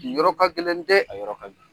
Nin yɔrɔ ka gɛlɛn dɛ, a yɔrɔ ka gɛlɛn.